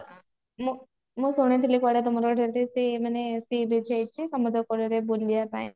ମୁ ମୁଁ ଶୁଣିଥିଲି କୁଆଡେ ମାନେ sea beach ହେଇଛି ମାନେ ରେ ବୁଲିବା ପାଇଁ